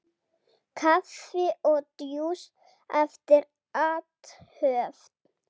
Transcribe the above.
Kaffi og djús eftir athöfn.